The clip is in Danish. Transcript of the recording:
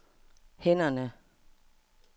hænderne